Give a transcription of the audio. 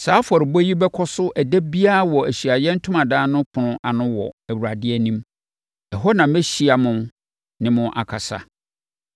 “Saa afɔrebɔ yi bɛkɔ so ɛda biara wɔ Ahyiaeɛ Ntomadan no ɛpono ano wɔ Awurade anim. Ɛhɔ na mɛhyia mo ne mo akasa.